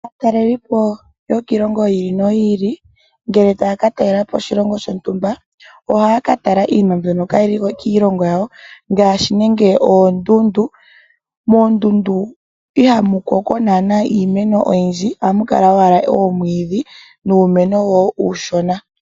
Aataleliipo mboka haya zi kiilongo yi ili noyi ili ngele taya ka talelapo oshilongo shontumba ohaya ka taka nee iinima mbyoka kaayili kiilongo yawo ngaashi oondundu. Moondundu ihamu mene iimeno oyindji ohamu kala owala oomwiidhi nuumeno owala uushona.